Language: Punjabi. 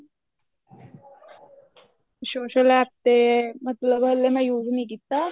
social APP ਤੇ ਮਤਲਬ ਹਲੇ ਮੈਂ use ਨੀ ਕੀਤਾ